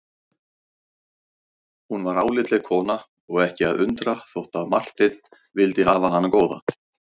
Hún var álitleg kona og ekki að undra þótt að Marteinn vildi hafa hana góða.